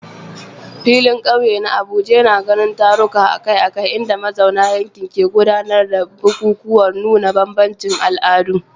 Filin kauye na Abuja yana ganin taruka akai-akai inda mazauna yankin ke gudanar da bukukuwan nuna bambancin al'adu.